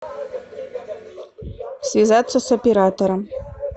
связаться с оператором